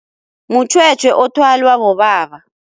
Mutjhwetjhwe othwalwa bobaba.